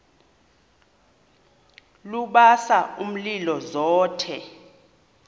lubasa umlilo zothe